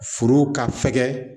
Foro ka fɛgɛ